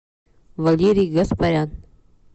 валерий гаспарян